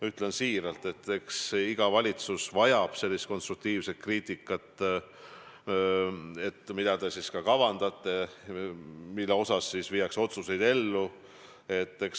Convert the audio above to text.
Ütlen siiralt: eks iga valitsus vajab sellist konstruktiivset kriitikat, mida te kavandate ja mille osas viiakse otsuseid ellu.